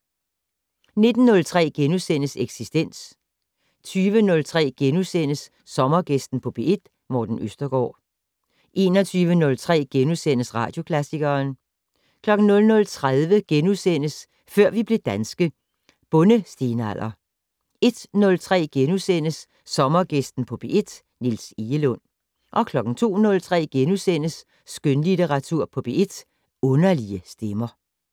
19:03: Eksistens * 20:03: Sommergæsten på P1: Morten Østergaard * 21:03: Radioklassikeren * 00:30: Før vi blev danske - Bondestenalder * 01:03: Sommergæsten på P1: Niels Egelund * 02:03: Skønlitteratur på P1: Underlige stemmer *